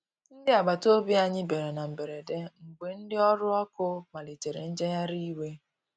Ndi agbata ọbì anya bìara na mgberede, mgbe ndi ọrụ ọkụ malitere njegharị iwe.